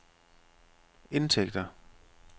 indtægter